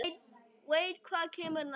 Veit hvað kemur næst.